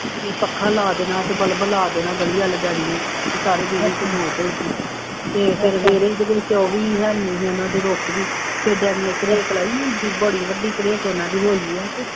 ਬਈ ਪੱਖਾ ਲਾ ਦੇਣਾ ਅਤੇ ਬੱਲਬ ਲਾ ਦੇਣਾ, ਗਲੀ ਵੱਲ ਡੈਡੀ ਨੇ, ਕਿ ਸਾਰੇ ਬੀਹੀਂ ਚ ਲੋ ਪਊਗੀ, ਅਤੇ ਫੇਰ ਸਵੇਰੇ ਹੀ ਜਿਸ ਦਿਨ ਚੌਵੀ ਹੈ ਨਹੀਂ ਗੇ ਇਹਨਾ ਦੇ ਰੁਕ ਗਈ, ਫੇਰ ਡੈਡੀ ਨੇ ਨਹੀਂ ਹੁੰਦੀ, ਬੜੀ ਵੱਡੀ ਦਰੇਕ ਉਹਨਾ ਦੀ ਹੋਈ ਹੈ,